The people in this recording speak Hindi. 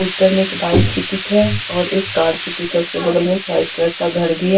पोस्टर में एक बाइक की पिक हैऔर एक कार की पिक है उसके बगल में एक वाइट कलर का घर भी है।